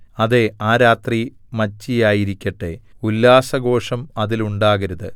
അതേ ആ രാത്രി മച്ചിയായിരിക്കട്ടെ ഉല്ലാസഘോഷം അതിലുണ്ടാകരുത്